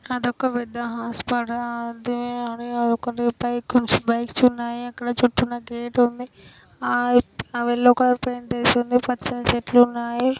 అదొక పెద్ద హాస్పిటల్. కొంచెం బైక్స్ ఉన్నాయి. అక్కడ చిన్న చిన్న గేట్ ఉంది. యెల్లో కలర్ పెయింట్ వేసి ఉంది. పచ్చని చెట్లు ఉన్నాయి.